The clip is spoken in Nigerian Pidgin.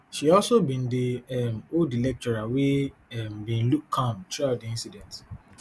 she also been dey um hold di lecturer wey um bin look calm throughout di incident